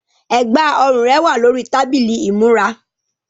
Ẹ̀gbá-ọrùn rẹ wà lórí tábìlì ìmúra.